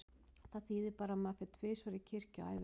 Það þýðir bara að maður fer tvisvar í kirkju á ævinni.